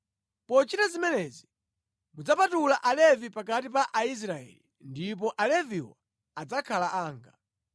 Pochita zimenezi mudzapatula Alevi pakati pa Aisraeli ndipo Aleviwo adzakhala anga.